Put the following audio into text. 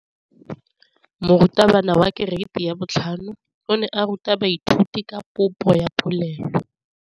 Moratabana wa kereiti ya 5 o ne a ruta baithuti ka popô ya polelô.